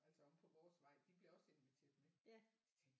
Altså omme på vores vej de blev også inviteret med de tænkte